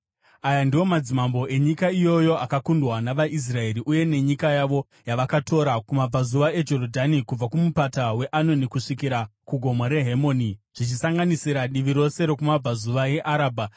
Aya ndiwo madzimambo enyika iyoyo akakundwa navaIsraeri uye nenyika yavo yavakatora kumabvazuva eJorodhani, kubva kuMupata weAnoni kusvikira kuGomo reHemoni, zvichisanganisira divi rose rokumabvazuva eArabha: